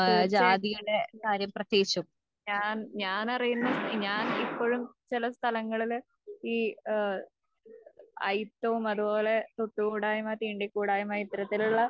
തീർച്ചയായിട്ടും തീർച്ചയായിട്ടും.ഞാൻ, ഞാനറിയുന്ന, ഞാൻ ഇപ്പൊഴും ചില സ്ഥലങ്ങളില് ഈ ഏഹ് അയിത്തവും അതുപോലെ തൊട്ടുകൂടായ്മ തീണ്ടികൂടായ്മ ഇത്തരത്തിലുള്ള